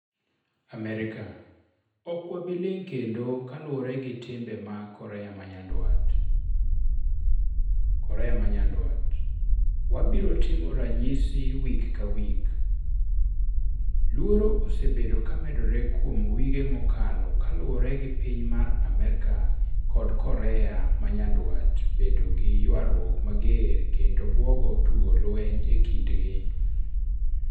Amerika: Okwabiling kendo kaluore gi timbe mag Korea manyandwat. Korea manyandwat: Wabiro timo ranysi wik kawik. Luoro osebedo kamedore kuom wige mokalo kaluore gi piny mar Amerika kod Korea manyandwat bedo gii ywaruok mager kendo buogo tugo lweny kindgi.